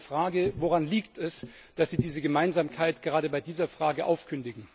Deswegen meine Frage Woran liegt es, dass Sie diese Gemeinsamkeit gerade bei dieser Frage aufkündigen?